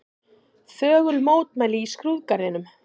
Þögul mótmæli í skrúðgarðinum